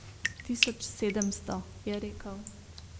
Tisoč sedemsto, je rekel.